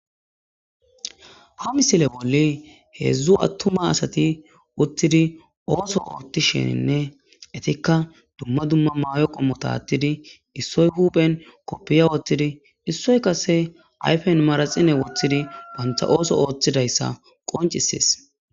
ha misile bolli heedzdzu attuma asati uttidi ooso ootti sheninne etikka dumma dumma mayo qo mota attidi issoy huphen koppiya woothtidi issoy kase ayfen maraxine woththidi bantha ooso ooththidayssa qoncisees